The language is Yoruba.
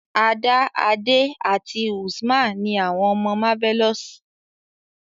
Ada, Ade àti Usman ni àwọn ọmọ Marvelous.